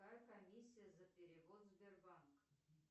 какая комиссия за перевод сбербанк